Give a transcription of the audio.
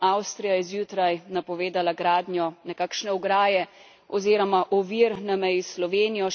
Avstrija je zjutraj napovedala gradnjo nekakšne ograje oziroma ovir na meji s Slovenijo.